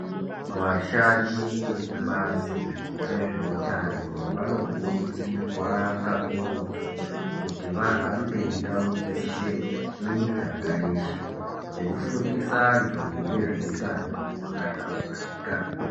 Vashandi vekubazi rezveutano vanokurudzirwa kakurutu kuti vahambe ndau dzeshe mumiganga yeshe veifundisa antu ngezveutano hwakahlamburika.